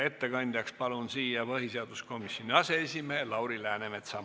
Ettekandjaks palun põhiseaduskomisjoni aseesimehe Lauri Läänemetsa.